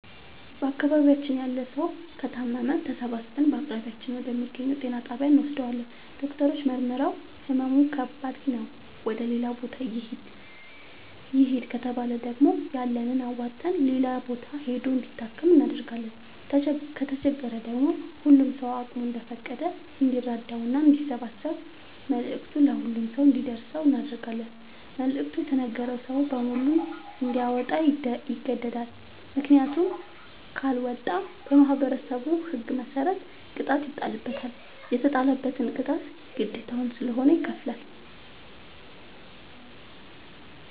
በአካባቢያችን ያለ ሠዉ ከታመመ ተሠባስበን በአቅራቢያችን ወደ ሚገኝ ጤና ጣቢያ እንወስደዋለን። ዶክተሮች መርምረዉ ህመሙ ከባድ ነዉ ወደ ሌላ ቦታ ይህድ ከተባለ ደግሞ ያለንን አዋተን ሌላ ቦታ ሂዶ እንዲታከም እናደርጋለን። ከተቸገረ ደግሞ ሁሉም ሰዉ አቅሙ እንደፈቀደ እንዲራዳና አንዲያሰባስብ መልዕክቱ ለሁሉም ሰው አንዲደርሰው እናደርጋለን። መልዕክቱ የተነገረዉ ሰዉ በሙሉ እንዲያወጣ ይገደዳል። ምክንያቱም ካለወጣ በማህበረሠቡ ህግ መሰረት ቅጣት ይጣልበታል። የተጣለበትን ቅጣት ግዴታዉ ስለሆነ ይከፍላል።